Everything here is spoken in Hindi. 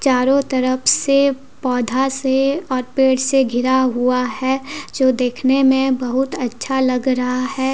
चारो तरफ से पौधा से और पेड़ से घिरा हुआ है जो देखने मे बहुत अच्छा लग रहा है ।